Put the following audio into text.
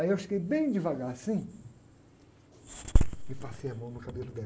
Aí eu cheguei bem devagar assim e passei a mão no cabelo dela.